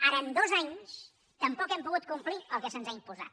ara en dos anys tampoc hem pogut complir el que se’ns ha imposat